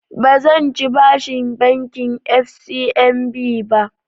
Ba zan ci bashin bankin FCMB ba